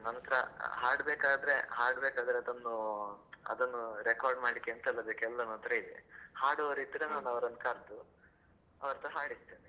ನಂತ್ರ ಹಾಡ್ಬೇಕಾದ್ರೆ ಹಾಡ್ಬೇಕಾದ್ರೆ ಅದನ್ನು ಅದನ್ನು record ಮಾಡ್ಲಿಕ್ಕೆ ಎಂತೆಲ್ಲಾ ಬೇಕು ಅದು ನನ್ನತ್ರ ಇದೆ, ಹಾಡುವವರು ಇದ್ರೆ ನಾನು ಅವರನ್ನು ಕರೆದು ಅವರತ್ರ ಹಾಡಿಸ್ತೇನೆ.